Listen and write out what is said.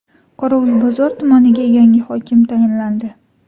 Qorovulbozor tumaniga yangi hokim tayinlandi.